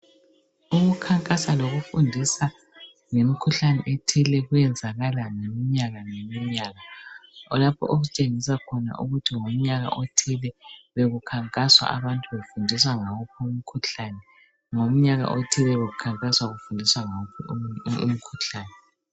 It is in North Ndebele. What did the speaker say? Ukukhankasa lokufundisa ngemikhuhlane ethile kuyenzakala ngeminyaka ngeminyaka kulapho ositshengisa khona ukuthi ngomnyaka othile bekukhankaswa abantu befundiswa ngawuphi umkhuhlane. Ngomnyaka othile bekukhankaswa kufundiswa ngawuphi umkhuhlane.